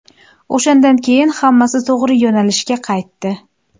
O‘shandan keyin hammasi to‘g‘ri yo‘nalishga qaytdi.